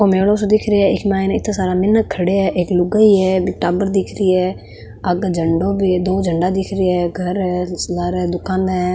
ओ मेलो सो दिख रेहो है इक माइने इत्ते सारा मीनक खड़े है एक लुगाई है बीक टाबर दिख री है आगे झंडो भी है दो झंडो दिख री है घर है लारे दुकाना है।